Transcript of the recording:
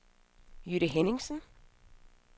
Jytte Henningsen